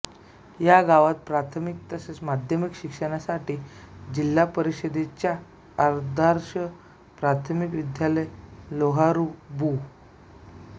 या गावात प्राथमिक तसेच माध्यमिक शिक्षणासाठी जिल्हापरिषदेच्या आदर्श प्राथमिक विद्यालय लोहारी बु